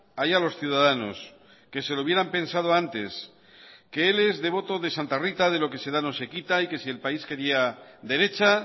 allá los ciudadanos que se lo hubieran pensado antes que él es devoto de santa rita de lo que se da no se quita y que si el país quería derecha